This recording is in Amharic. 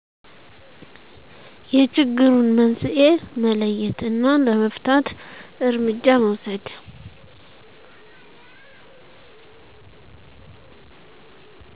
የችግሩን መንስኤ መለየት እና ለመፍታት እርምጃ መውሰድ